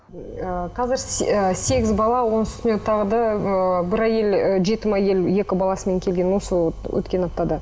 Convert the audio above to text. ыыы қазір ы сегіз бала оның үстіне тағы да ы бір ы әйел ы жетім әйел екі баласымен келген осы өткен аптада